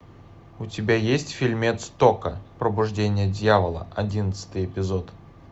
у тебя есть фильмец токко пробуждение дьявола одиннадцатый эпизод